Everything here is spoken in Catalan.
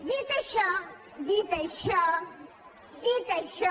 dit això dit això dit això